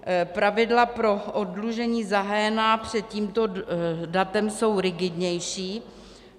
Pravidla pro oddlužení zahájená před tímto datem jsou rigidnější.